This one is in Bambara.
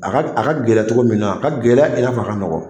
A ka a ka gɛlɛn cogo min na a ka gɛlɛn i n'a fɔ a ka nɔgɔn